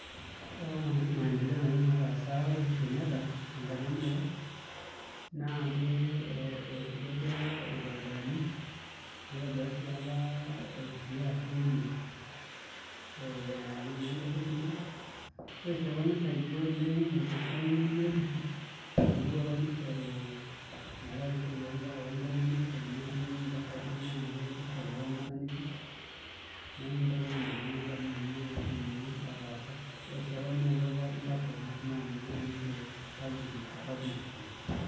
Ore apa maendeleao nataasa apa Uhuru Kenyatta tenkata enye apa naa itobira apa irbaribarani nitobira sii apa SGR railway engarri enkima, ore sii apa nisaidia oleng' enkishia ebiotisho amu eeuo apa nishoru metaa ore esiai ombaa oontomonok aa teneisho intasati naa pesho, ore sii neyaua apa laptops naisumare inkera osukuulini e publice.